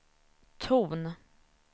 ton